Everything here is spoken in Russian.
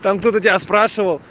там кто-то тебя спрашивал